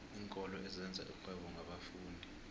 iinkolo ezenza irhwebo ngabafundi